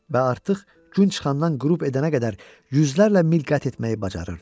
Və artıq gün çıxandan qürub edənə qədər yüzlərlə mil qət etməyi bacarırdı.